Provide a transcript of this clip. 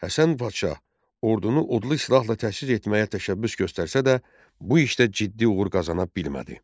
Həsən Padşah ordunu odlu silahla təchiz etməyə təşəbbüs göstərsə də, bu işdə ciddi uğur qazana bilmədi.